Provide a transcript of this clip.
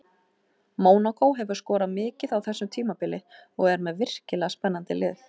Mónakó hefur skorað mikið á þessu tímabili og er með virkilega spennandi lið.